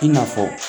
I na fɔ